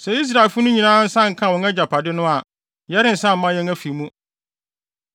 Sɛ Israelfo no nyinaa nsa nkaa wɔn agyapade no a, yɛrensan mma yɛn afi mu.